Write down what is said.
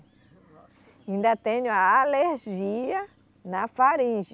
Ainda tenho a alergia na faringe.